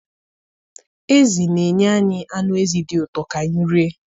Ezi na-enye anyị anụ ezi dị ụtọ ka anyị rie.